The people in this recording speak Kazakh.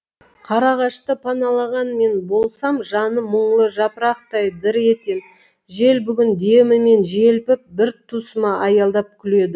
қарағашты паналаған мен болсамжаны мұңлы жапырақтай дір етем жел бүгін демімен желпіп біртұсыма аялдап күледі